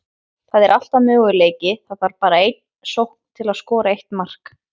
Það er alltaf möguleiki, það þarf bara eina sókn til að skora eitt mark.